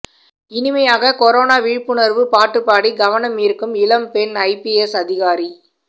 இனிமையாக கொரோனா விழிப்புணர்வு பாட்டுப்பாடி கவனம் ஈர்க்கும் இளம் பெண் ஐபிஎஸ் அதிகாரி